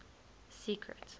secret